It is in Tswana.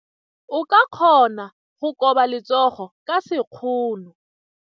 O ka kgona go koba letsogo ka sekgono.